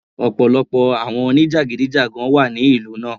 Ọ̀pọ̀lọpọ̀ àwọn oníjàgídíjàgan wà ní ìlú náà.